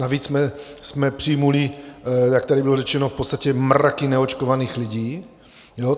Navíc jsme přijali, jak tady bylo řečeno, v podstatě mraky neočkovaných lidí.